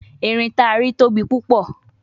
Erin ti a ri tobi pupo